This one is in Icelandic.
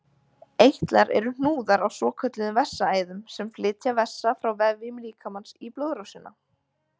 Eitlar eru hnúðar á svokölluðum vessaæðum sem flytja vessa frá vefjum líkamans í blóðrásina.